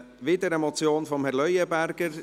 Es ist wieder eine Motion von Herrn Leuenberger.